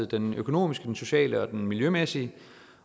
den økonomiske den sociale og den miljømæssige